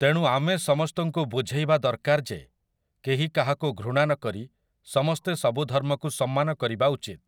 ତେଣୁ ଆମେ ସମସ୍ତଙ୍କୁ ବୁଝେଇବା ଦରକାରଯେ କେହି କାହାକୁ ଘୃଣା ନକରି ସମସ୍ତେ ସବୁ ଧର୍ମକୁ ସମ୍ମାନ କରିବା ଉଚିତ ।